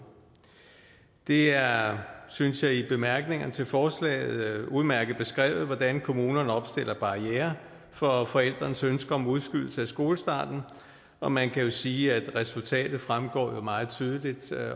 det er synes jeg i bemærkningerne til forslaget udmærket beskrevet hvordan kommunerne opstiller barrierer for forældrenes ønske om udskydelse af skolestarten og man kan jo sige at resultatet fremgår meget tydeligt